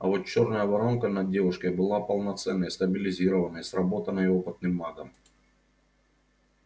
а вот чёрная воронка над девушкой была полноценной стабилизированной сработанной опытным магом